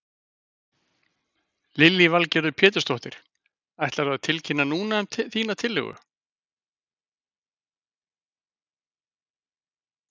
Lillý Valgerður Pétursdóttir: Ætlarðu að tilkynna núna um þína tillögu?